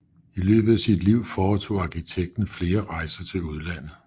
I løbet af sit liv foretog arkitekten flere rejser til udlandet